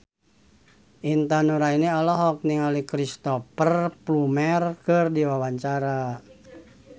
Intan Nuraini olohok ningali Cristhoper Plumer keur diwawancara